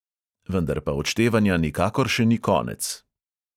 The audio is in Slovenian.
Vendar pa odštevanja nikakor še ni konec!